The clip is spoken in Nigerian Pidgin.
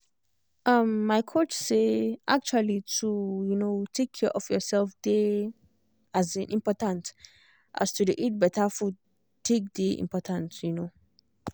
um my coach say actually to um take care of yourself dey um important as to dey eat better food take dey important um